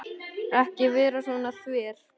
Ekki vera svona þver.